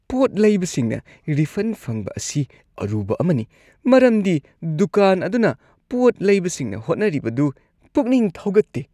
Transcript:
ꯄꯣꯠ ꯂꯩꯕꯁꯤꯡꯅ ꯔꯤꯐꯟ ꯐꯪꯕ ꯑꯁꯤ ꯑꯔꯨꯕ ꯑꯃꯅꯤ ꯃꯔꯝꯗꯤ ꯗꯨꯀꯥꯟ ꯑꯗꯨꯅ ꯄꯣꯠ ꯂꯩꯕꯁꯤꯡꯅ ꯍꯣꯠꯅꯔꯤꯕꯗꯨ ꯄꯨꯛꯅꯤꯡ ꯊꯧꯒꯠꯇꯦ ꯫